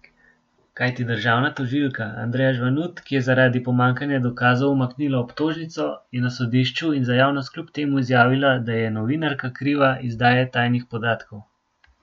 Kajti državna tožilka Andreja Žvanut, ki je zaradi pomanjkanja dokazov umaknila obtožnico, je na sodišču in za javnost kljub temu izjavila, da je novinarka kriva izdaje tajnih podatkov.